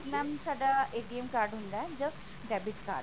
ਕਿਉਂਕੀ mam ਸਦਾ card ਹੁੰਦਾ just debit card